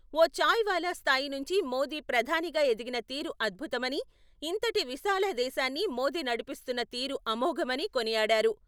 ఓ చాయ్ వాలా స్థాయి నుంచి మోదీ ప్రధానిగా ఎదిగిన తీరు అద్భుతమని, ఇంతటి విశాల దేశాన్ని మోదీ నడిపిస్తున్న తీరు అమోఘమని కొనియాడారు.